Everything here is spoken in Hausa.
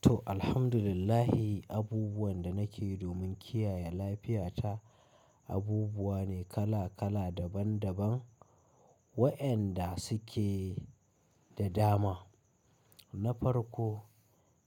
To, alhamdulillah abubuwan da nake domin kiyaye lafiyata abubuwa ne kala kala daban daban. Waɗanda suke da dama. Na farko,